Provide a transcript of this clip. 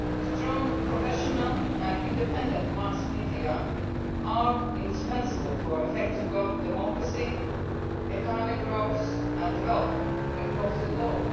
Strong, professional and independent mass media are indispensable for effective democracy, economic growth and development across the globe.